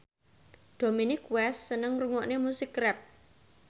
Dominic West seneng ngrungokne musik rap